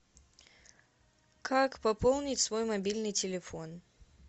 как пополнить свой мобильный телефон